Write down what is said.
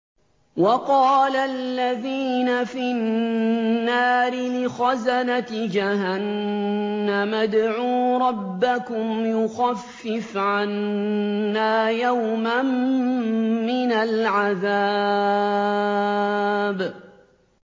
وَقَالَ الَّذِينَ فِي النَّارِ لِخَزَنَةِ جَهَنَّمَ ادْعُوا رَبَّكُمْ يُخَفِّفْ عَنَّا يَوْمًا مِّنَ الْعَذَابِ